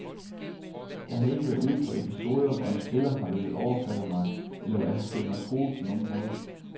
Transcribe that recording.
Jeg har ikke været ude for episoder, hvor en spiller har villet overfalde mig, eller hvor jeg har følt mig truet på nogen måde.